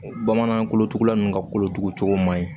Bamanan kolotugula ninnu ka kolotugu cogo man ɲi